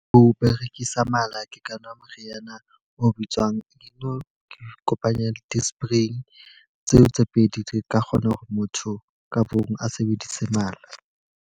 Ho berekisa mala ke ka nwa moriana o bitswang ikopanya le disprin. Tseo tse pedi di ka kgona hore motho ka mong a sebedise mala.